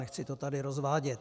Nechci to tady rozvádět.